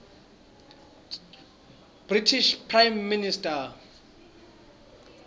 british prime minister